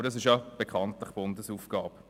Aber dies ist ja bekanntlich eine Bundesaufgabe.